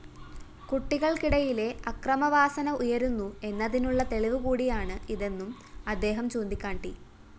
കുട്ടികള്‍ക്കിടയിലെ അക്രമവാസന ഉയരുന്നു എന്നതിനുള്ള തെളിവുകൂടിയാണ് ഇതെന്നും അദ്ദേഹം ചൂണ്ടിക്കാട്ടി